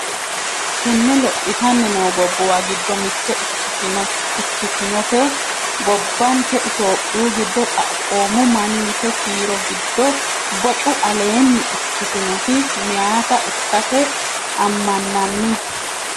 Tenni lophitanni noo gobbuwa giddo mitte ikkitinote gobbanke itophiyu giddo xaphoomu mannise kiiro giddo bocu aleenni ikktinoti meyaata ikkase ammannanni.